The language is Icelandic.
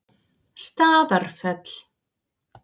Staðarfelli